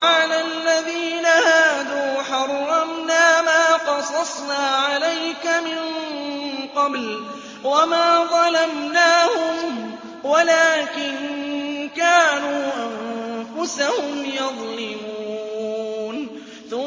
وَعَلَى الَّذِينَ هَادُوا حَرَّمْنَا مَا قَصَصْنَا عَلَيْكَ مِن قَبْلُ ۖ وَمَا ظَلَمْنَاهُمْ وَلَٰكِن كَانُوا أَنفُسَهُمْ يَظْلِمُونَ